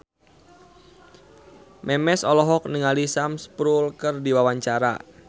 Memes olohok ningali Sam Spruell keur diwawancara